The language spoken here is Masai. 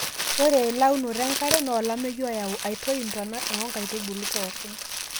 ore eleunoto enkare naa olameyu oyau aiyoi intona enkaitubului pookin